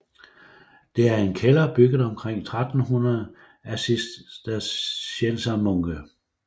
Det er en kælder bygget omkring 1300 af cisterciensermunke